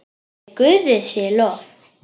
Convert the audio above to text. Nei, Guði sé lof.